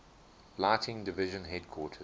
lighting division headquarters